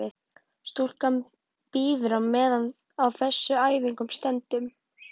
Stúlkan bíður á meðan á þessum æfingum stendur.